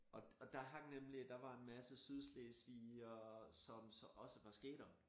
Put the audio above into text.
Og og der hang nemlig der var en masse sydslesvigere som så også var skatere